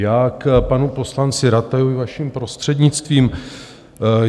Já k panu poslanci Ratajovi, vaším prostřednictvím.